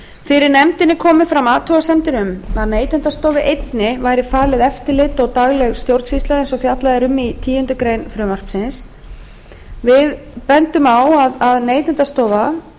fyrir nefndinni komu fram athugasemdir um að neytendastofu einni væri falið eftirlit og dagleg stjórnsýsla eins og fjallað er um í tíundu greinar frumvarpsins nefndin bendir á að